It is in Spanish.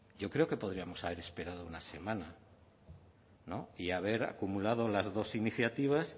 yo creo que podríamos haber esperado una semana no y haber acumulado las dos iniciativas